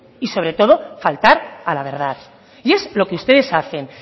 y sobre todo faltar a la verdad y es lo que ustedes hacen